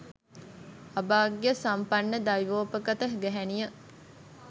අභාග්‍ය සම්පන්න දෛවෝපගත ගැහැනිය